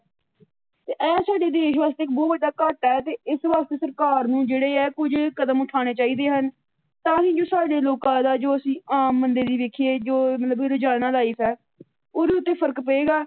ਤੇ ਇਹ ਸਾਡੇ ਦੇਸ਼ ਵਾਸਤੇ ਬਹੁੱਤ ਵੱਡਾ ਘਾਟਾ ਹੈ ਤੇ ਇਸ ਵਾਸਤੇ ਸਰਕਾਰ ਨੂੰ ਜਿਹੜੇ ਆ ਕੁੱਝ ਕਦਮ ਉਠਾਣੇ ਚਾਹੀਦੇ ਹਨ, ਤਾਂ ਹੀ ਜੋ ਸਾਡੇ ਲੋਕਾਂ ਦਾ ਜੋ ਅਸੀ ਆਮ ਬੰਦੇ ਦੀ ਵੇਖੀਏ ਜੋ ਮਤਲਬ ਰੋਜ਼ਾਨਾ ਲਾਈਫ ਹੈ ਉਹਦੇ ਉੱਤੇ ਫਰਕ ਪਏਗਾ।